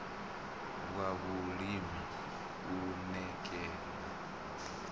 wa vhulimi u ṋ ekana